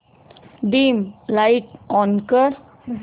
dim light on कर